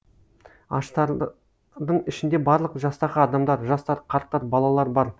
аштардың ішінде барлық жастағы адамдар жастар қарттар балалар бар